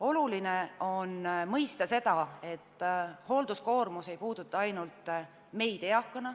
Oluline on mõista seda, et hoolduskoormus ei puuduta ainult eakaid inimesi.